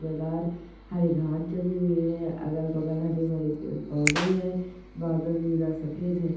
मैदान हरी घास जमा हुई है अगल बगल हरे पेड़ पौधे है बादल नीला सफेद है।